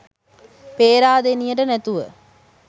පේරාදෙනියට නැතුව